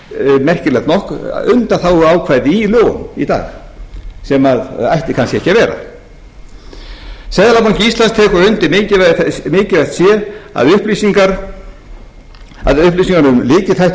undanþáguákvæði í lögunum í dag sem ætti kannski ekki að vera seðlabanki íslands tekur undir að mikilvægt sé að upplýsingar um lykilþætti fyrirtækja til